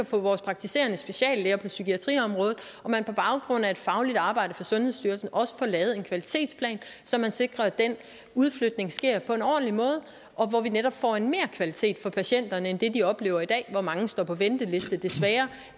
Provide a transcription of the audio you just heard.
på vores praktiserende speciallæger på psykiatriområdet så man på baggrund af et fagligt arbejde fra sundhedsstyrelsen også får lavet en kvalitetsplan så man sikrer at den udflytning sker på en ordentlig måde hvor vi netop får en merkvalitet for patienterne end det de oplever i dag hvor mange står på venteliste desværre